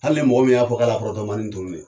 Hali ni mɔgɔ min y'a fɔ k'a la pɔrɔtomani tunu ne